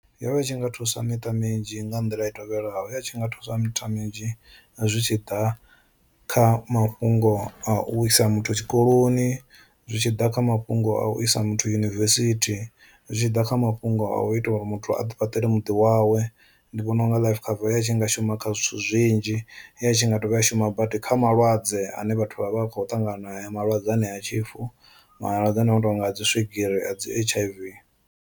Yo vha i tshi nga thusa miṱa minzhi nga nḓila i tevhelaho ya tshi nga thusa miṱa minzhi zwi tshi ḓa kha mafhungo a u isa muthu tshikoloni, zwi tshi ḓa kha mafhungo a u isa muthu yunivesithi, zwi tshi ḓa kha mafhungo a u ita uri muthu a ḓi fhaṱela muḓi wawe. Ndi vhona unga life cover ya tshi nga shuma kha zwithu zwinzhi ya tshi nga dovha ya shuma badi kha malwadze ane vhathu vha vha khou ṱangana nae malwadze anea a tshifu malwadze ane a no tonga a dzi swigiri a dzi H_I_V.